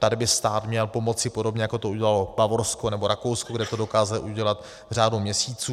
Tady by stát měl pomoci, podobně jako to udělalo Bavorsko nebo Rakousko, kde to dokázali udělat v řádu měsíců.